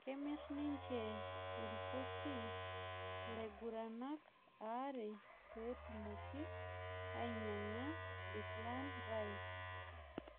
Kemir ninje irpusi laing'uranak aare peetumoki inyang'a Declan Rice